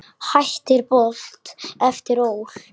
Hættir Bolt eftir ÓL